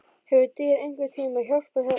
Hefur dýr einhvern tíma hjálpað þér?